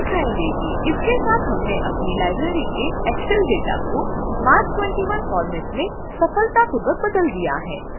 इसके साथ हमने अपनी लाइब्रेरी के excel data को marc 21फोर्मेट में सफलतापूर्वक बदल दिया है